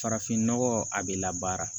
Farafinnɔgɔ a bɛ labaara